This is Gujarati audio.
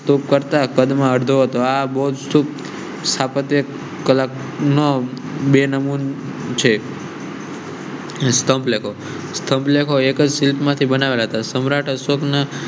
સ્તૂપ કરતા કડ મરડો અથવા બૌદ્ધ સ્થાપત્ય. બેન મૂન છે. એસ્ટ્રો પ્લે કરો સબ લોકો એક સીટ માંથી બનાવાયા સમ્રાટ અશોક